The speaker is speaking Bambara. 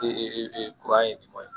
kura ye maɲi